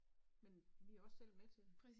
Men vi også selv med til det